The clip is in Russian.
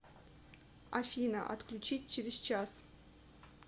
афина отключить через час